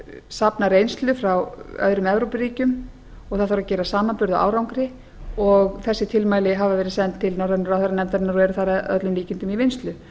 safna reynslu frá öðrum evrópuríkjum og það þarf að gera samanburð á árangri og þessi tilmæli hafa verið send til norrænu ráðherranefndarinnar og eru þar að öllum líkindum í vinnslu